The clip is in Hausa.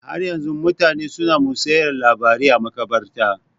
Har yanzu mutane su na musayar labarai a maƙabarta